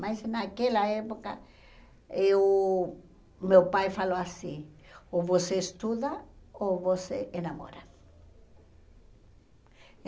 Mas naquela época, eh o meu pai falou assim, ou você estuda ou você enamora.